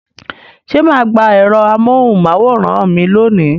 Ṣé ma gba ẹ̀rọ amóhùn máwòrán mi lónìí?